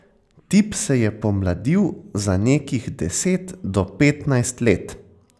Tip se je pomladil za nekih deset do petnajst let.